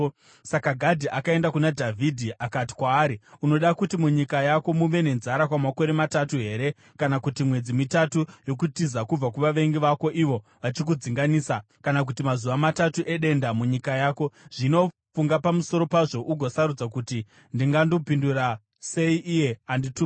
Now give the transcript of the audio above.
Saka Gadhi akaenda kuna Dhavhidhi akati kwaari, “Unoda kuti munyika yako muve nenzara kwamakore matatu here? Kana kuti mwedzi mitatu yokutiza kubva kuvavengi vako ivo vachikudzinganisa? Kana kuti mazuva matatu edenda munyika yako? Zvino funga pamusoro pazvo ugosarudza kuti ndingandopindura sei iye andituma.”